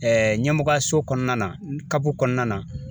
ɲɛmɔgɔyaso kɔnɔna kɔnɔna na